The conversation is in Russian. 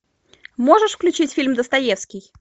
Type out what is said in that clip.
можешь включить фильм достоевский